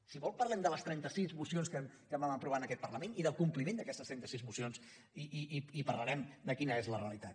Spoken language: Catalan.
si vol parlem de les trentasis mocions que vam aprovar en aquest parlament i del compliment d’aquestes trenta sis mocions i parlarem de quina és la realitat